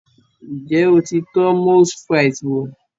Ǹjẹ́ o ti tọ́ Moules Frites wò?